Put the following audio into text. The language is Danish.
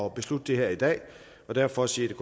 at beslutte det her i dag og derfor siger